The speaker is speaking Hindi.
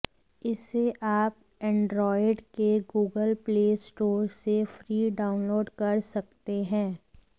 इसे आप एंड्रॉयड के गूगल प्ले स्टोर से फ्री डाउनलोड कर सकते हैं